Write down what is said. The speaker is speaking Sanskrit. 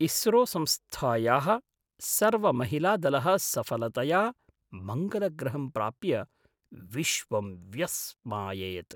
इस्रो संस्थायाः सर्वमहिलादलः सफलतया मङ्गलग्रहं प्राप्य विश्वं व्यस्माययत्।